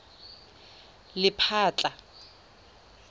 lephatla